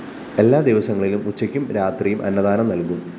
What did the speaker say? എല്ലാ ദിവസങ്ങളിലും ഉച്ചയ്കും രാത്രിയും അന്നദാനം നൽകും